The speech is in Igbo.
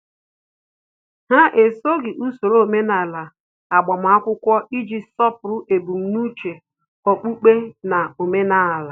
Ha esoghị usoro omenala agbamakwụkwọ iji sọpụrụ ebumnuche okpukpe na omenala